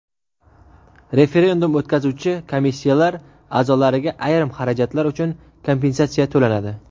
Referendum o‘tkazuvchi komissiyalar a’zolariga ayrim xarajatlar uchun kompensatsiya to‘lanadi.